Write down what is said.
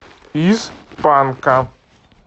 из панка